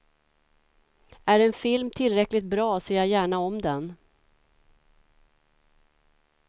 Är en film tillräckligt bra ser jag gärna om den.